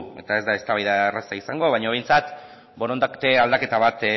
eta ez da eztabaida erraza izango baino behintzat borondate aldaketa bat